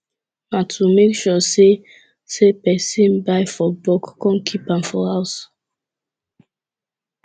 na to make sure say say persin buy for bulk kon kip am for house